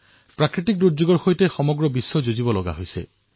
প্ৰাকৃতিৰ দুৰ্যোগৰ সৈতে বিশ্ব জড়িত হৈ আছে